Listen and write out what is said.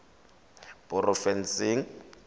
porofensing